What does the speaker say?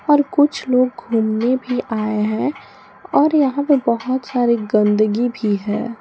और कुछ लोग घूमने भी आए है और यहां पे बहुत सारी गंदगी भी है।